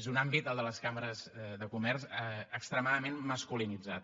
és un àmbit el de les cambres de comerç extremadament masculinitzat